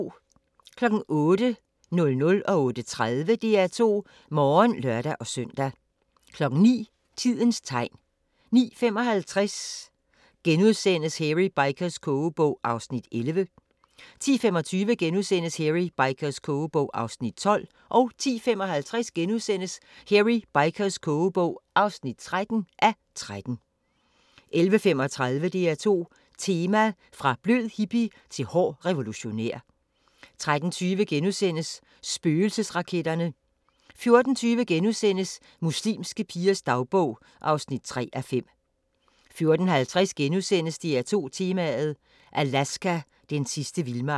08:00: DR2 Morgen (lør-søn) 08:30: DR2 Morgen (lør-søn) 09:00: Tidens tegn 09:55: Hairy Bikers' kogebog (11:13)* 10:25: Hairy Bikers' kogebog (12:13)* 10:55: Hairy Bikers' kogebog (13:13)* 11:35: DR2 Tema: Fra blød hippie til hård revolutionær 13:20: Spøgelsesraketterne * 14:20: Muslimske pigers dagbog (3:5)* 14:50: DR2 Tema: Alaska – den sidste vildmark *